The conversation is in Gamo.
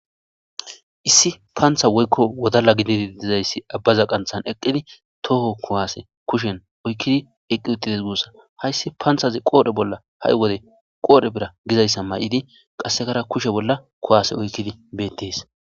Issi paantha woykko wodala gididi dizayssi abbaza qanthan eqqidi tooho kuwaase kushen oykkidi eqqi uxides guussa hayssi paanthazi qoodhe bolla ha'i wode qoodhe bira gizayssa may'idi qassekara kushe bolla kuwase oykkidi beettees.